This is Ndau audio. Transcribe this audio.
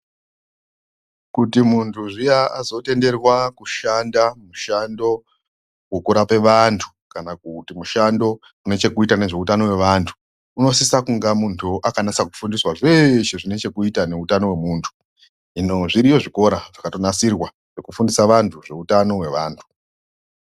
Kuti muntu zviya azotenderwa kushanda mushando wekurapa antu kana kuita mushando une chekuita nehutano hwevantu unosisa kuva muntu akafundiswa zveshe zvine chekuita nehutano hwemundu hino zviriyo zvikora zvakanasirwa kugundisa vantu zveutano hwevantu .